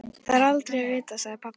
Þó er aldrei að vita, sagði pabbi.